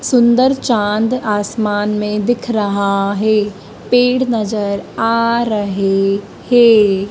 सुंदर चांद आसमान में दिख रहा है पेड़ नजर आ रहे है।